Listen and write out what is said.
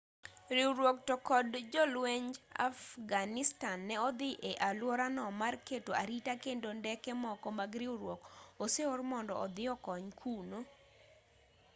riwruog to kod jolwenj afghanistan ne odhi e alworano mar keto arita kendo ndeke moko mag riwruok oseor mondo odhi okony kuno